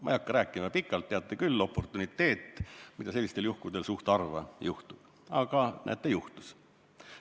Ma ei hakka rääkima pikalt, teate küll, oportuniteet, mida sellistel juhtudel suhteliselt harva juhtub, aga näete, juhtus.